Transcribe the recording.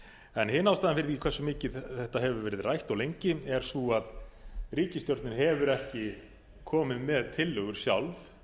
hin ástæðan fyrir því hversu mikið þetta hefur verið átt og lengi er sú að ríkisstjórnin hefur ekki komið með tillögur sjálf